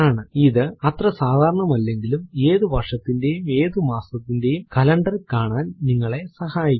ഇത് അത്ര സാധാരണം അല്ലെങ്കിലും ഏതു വർഷത്തിന്റെയും ഏതു മാസത്തിന്റെയും കലണ്ടർ കാണാൻ നിങ്ങളെ സഹായിക്കുന്നു